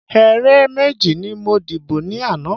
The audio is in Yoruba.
Ẹ̀rẹ̀ méjì ni mo dìbọ̀ ni ana